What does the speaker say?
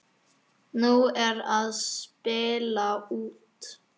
Nú er að spila út.